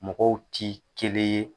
Mɔgɔw ti kelen ye.